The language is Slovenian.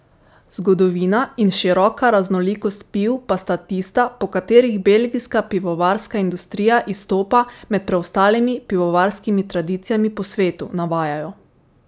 Zgodovina in široka raznolikost piv pa sta tista, po katerih belgijska pivovarska industrija izstopa med preostalimi pivovarskimi tradicijami po svetu, navajajo.